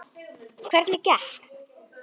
Andri: Hvernig gekk?